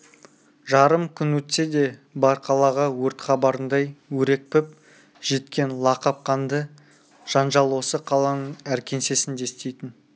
жарым күн өтсе де бар қалаға өрт хабарындай өрекпіп жеткен лақап қанды жанжал осы қаланың әр кеңсесінде істейтін